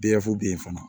bɛ yen fana